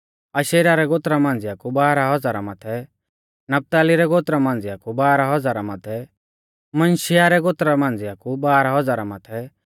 अशेरा रै गोत्रा मांझ़िया कु बाराह हज़ारा माथै नपताली रै गोत्रा मांझ़िया कु बाराह हज़ारा माथै मनश्शिहा रै गोत्रा मांझ़िया कु बाराह हज़ारा माथै